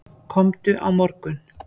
Komdu á morgun.